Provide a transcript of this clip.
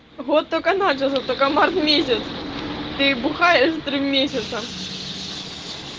вот только начался только март месяц ты бухаешь три месяца